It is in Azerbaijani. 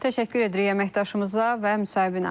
Təşəkkür edirik əməkdaşımıza və müsahibinə.